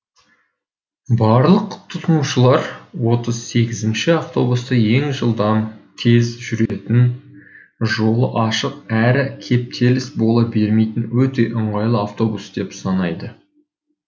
барлық тұтынушылар отыз сегізінші автобусты ең жылдам тез жүретін жолы ашық әрі кептеліс бола бермейтін өте ыңғайлы автобус деп санайды